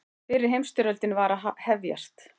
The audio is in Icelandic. Fyrri heimsstyrjöldin var að hefjast.